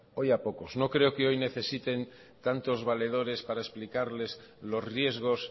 hoy a pocos no creo que hoy necesiten tantos valedores para explicarles los riesgos